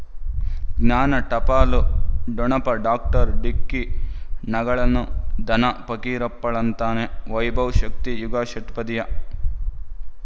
ಜ್ಞಾನ ಟಪಾಲು ಠೊಣಪ ಡಾಕ್ಟರ್ ಢಿಕ್ಕಿ ಣಗಳನು ಧನ ಫಕೀರಪ್ಪ ಳಂತಾನೆ ವೈಭವ್ ಶಕ್ತಿ ಯುಗಾ ಷಟ್ಪದಿಯ